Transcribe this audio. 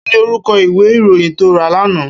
Kini órúkò iwé iróyìn tó rá làná